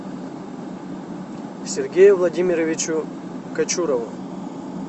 сергею владимировичу кочурову